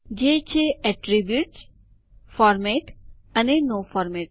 જે છે attributes format અને નો ફોર્મેટ